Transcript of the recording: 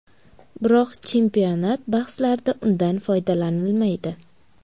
Biroq chempionat bahslarida undan foydalanilmaydi.